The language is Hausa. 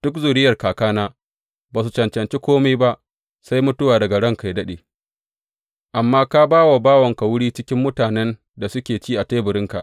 Duk zuriyar kakana ba su cancanci kome ba sai mutuwa daga ranka yă daɗe, amma ka ba wa bawanka wuri cikin mutanen da suke ci a teburinka.